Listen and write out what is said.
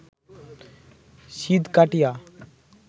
সিঁধ কাটিয়া